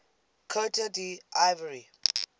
cote d ivoire